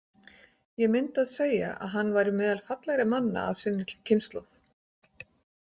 Ég myndi að segja að hann væri meðal fallegri manna af sinni kynslóð.